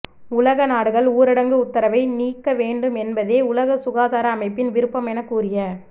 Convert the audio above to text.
உலக நாடுகள் ஊரடங்கு உத்தரவை நீக்க வேண்டும் என்பதே உலக சுகாதார அமைப்பின் விருப்பம் என கூறிய